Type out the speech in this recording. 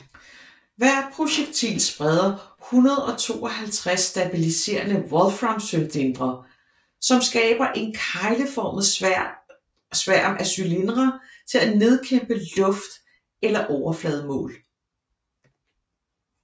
Hvert projektil spreder 152 stabiliserede wolfram cylindere som skaber en kegleformet sværm af cylindere til at nedkæmpe luft eller overflademål